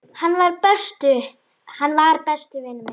Hann var. besti vinur minn.